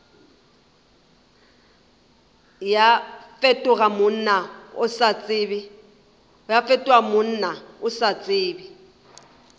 fetoga monna o sa tsebe